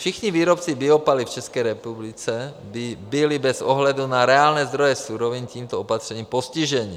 Všichni výrobci biopaliv v České republice by byli bez ohledu na reálné zdroje surovin tímto opatřením postiženi.